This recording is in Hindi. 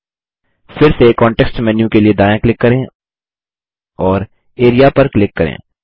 फिरसे कॉन्टेक्स्ट मेन्यू के लिए दायाँ क्लिक करें और एआरईए पर क्लिक करें